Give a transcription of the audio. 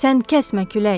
Sən kəsmə külək!